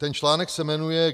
Ten článek se jmenuje